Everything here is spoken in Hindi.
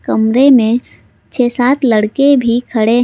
कमरे में छे सात लड़के भी खड़े--